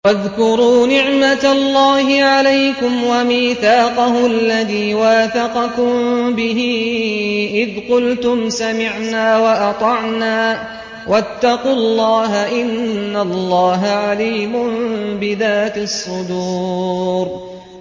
وَاذْكُرُوا نِعْمَةَ اللَّهِ عَلَيْكُمْ وَمِيثَاقَهُ الَّذِي وَاثَقَكُم بِهِ إِذْ قُلْتُمْ سَمِعْنَا وَأَطَعْنَا ۖ وَاتَّقُوا اللَّهَ ۚ إِنَّ اللَّهَ عَلِيمٌ بِذَاتِ الصُّدُورِ